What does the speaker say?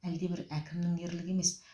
әлдебір әкімнің ерлігі емес